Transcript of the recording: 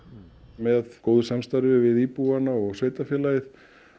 með góðu samstarfi við íbúana og sveitarfélagið